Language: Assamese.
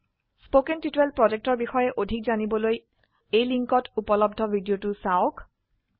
spoken টিউটৰিয়েল projectৰ বিষয়ে অধিক জানিবলৈ এই লিঙ্কত উপলব্ধ ভিডিওটো চাওক